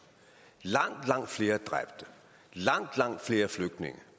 langt langt flere dræbte langt langt flere flygtninge